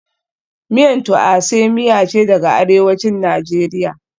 Miyan Tuase miya ce daga Arewacin Najeriya,